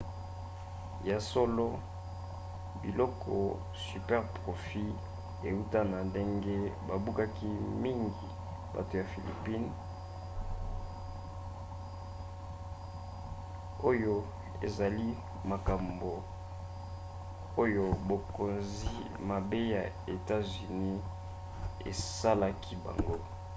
ya solo biloko superprofits euta na ndenge babubaki mingi bato ya philippines oyo ezali makambo oyo bokonzi mabe ya etats-unis esalaki bango